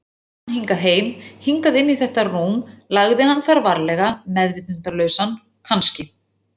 bar hann hingað heim, hingað inn í þetta rúm, lagði hann þar varlega meðvitundarlausan, kannski.